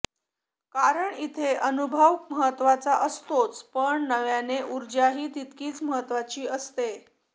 कारण इथे अनुभव महत्त्वाचा असतोच पण नव्याची ऊर्जाही तितकीच महत्त्वाची असते